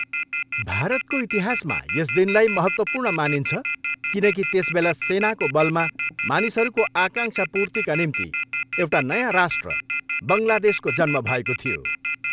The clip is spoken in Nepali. भारतको इतिहासमा यस दिनलाई महत्त्वपूर्ण मानिन्छ किनकि त्यसबेला सेनाको बलमा मानिसहरूको आकाङ्क्षा पूर्तिका निम्ति एउटा नयाँ राष्ट्र बङ्गलादेशको जन्म भएको थियो।